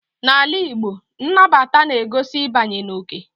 N'ala Igbo, nnabata na-egosi ịbanye n'oke.